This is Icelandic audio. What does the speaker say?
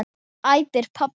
æpir pabbi.